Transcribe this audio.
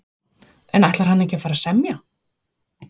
En ætlar hann ekki að fara að semja?